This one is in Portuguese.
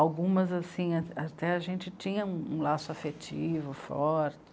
Algumas assim, até a gente tinha um um laço afetivo forte.